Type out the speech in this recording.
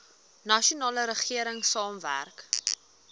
nasionale regering saamwerk